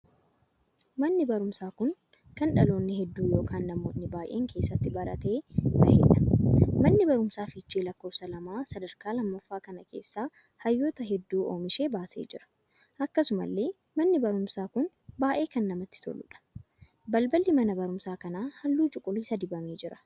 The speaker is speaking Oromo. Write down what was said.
Manni barumsaa kun kana dhaloonni hedduu ykn namoonni baay'een keessatti baratee baheedha. Manni barumsaa fiichee lakkoofsa lamaa sadarkaa lammaffaa kana keessaa hayyoota hedduu ooomishee baasee jira. Akkasumallee manni barumsaa kun baay'ee kan namatti toltuudha. Balballi mana barumsaa kanaa halluu cuquliisa dibamee jira.